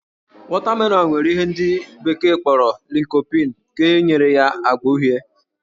Wọtamelọnụ nwere ihe ndị bekee kpọrọ lycopene nke nyere ya ágbá uhie